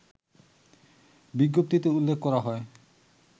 বিজ্ঞপ্তিতে উল্লেখ করা হয়